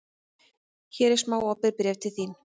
Hér er smá opið bréf til þín.